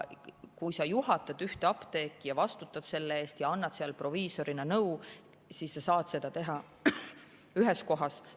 Kui sa juhatad ühte apteeki ja vastutad selle eest ja annad seal proviisorina nõu, siis sa saad seda teha ühes kohas.